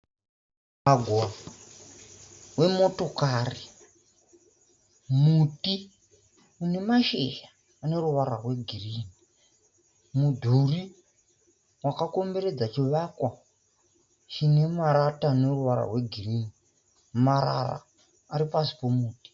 Mugwagwa wemotokari, muti une mashizha ane ruvara rwegirini, mudhuri wakakomberedza chivakwa chine marata ane ruvara rwegirini. Marara ari pasi pemuti.